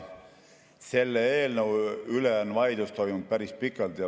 Selle eelnõu üle on vaidlus toimunud päris pikalt.